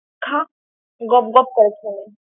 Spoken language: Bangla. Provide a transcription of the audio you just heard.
খা গপ গপ করে খেয়ে নে।